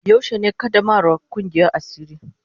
Yaushe ne qaddamarwan Kungiyan asiri.